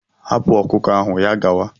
Hapụ ọkụkọ ahụ ya gawa!